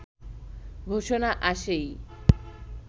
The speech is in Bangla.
ঘোষণা আসেই